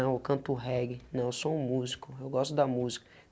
não, eu canto o reggae, não, eu sou um músico, eu gosto da música.